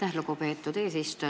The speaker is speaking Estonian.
Aitäh, lugupeetud eesistuja!